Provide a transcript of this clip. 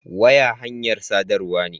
Waya hanyar sadarwa ne.